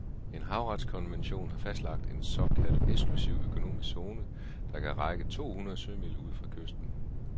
En havretskonvention har fastlagt en såkaldt eksklusiv økonomisk zone, der kan række to hundrede sømil ud fra kysten.